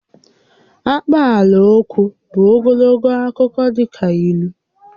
Akpaalaokwu bụ ogologo akụkọ dị ka ílú